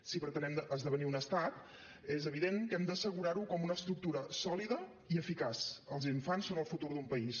si pretenem esdevenir un estat és evident que hem d’assegurar ho com una estructura sòlida i eficaç els infants són el futur d’un país